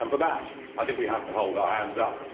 For that, I think, we have to hold our hands up.